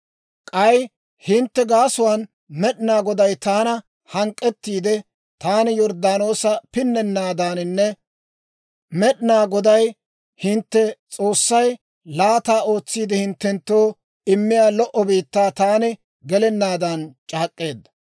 «K'ay hintte gaasuwaan Med'inaa Goday taana hank'k'ettiide; taani Yorddaanoosa pinnennaadaaninne, Med'inaa Goday, hintte S'oossay, laata ootsiide hinttenttoo immiyaa lo"o biittaa taani gelennaadan c'aak'k'eedda.